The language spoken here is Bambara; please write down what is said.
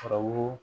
Fabu